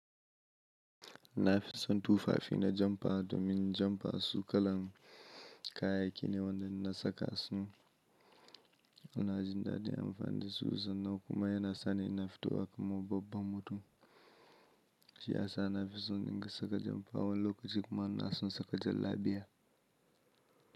Na fi son tufafi na jampa domin jampa su kalan kayayyaki ne waɗanda in na saka su. Ina jin daɗin amfani da su sannan kuma yana sa ni ina fitowa kamar babban mutum. Shi ya sa na fi son in dinga saka jampa wani lokaci kuma ina son saka jallabiya.